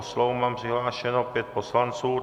O slovo mám přihlášeno pět poslanců.